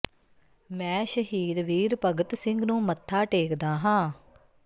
ਮੈਂ ਸ਼ਹੀਦ ਵੀਰ ਭਗਤ ਸਿੰਘ ਨੂੰ ਮੱਥਾ ਟੇਕਦਾ ਹਾਂ